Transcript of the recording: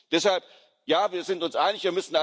Deshalb Ja, wir sind uns einig.